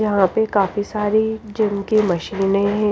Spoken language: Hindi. यहां पे काफी सारी जिम की मशीने है।